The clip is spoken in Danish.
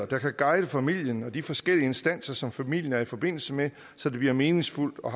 der kan guide familien og de forskellige instanser som familien er i forbindelse med så det bliver meningsfuldt og